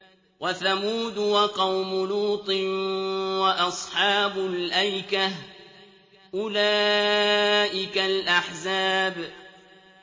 وَثَمُودُ وَقَوْمُ لُوطٍ وَأَصْحَابُ الْأَيْكَةِ ۚ أُولَٰئِكَ الْأَحْزَابُ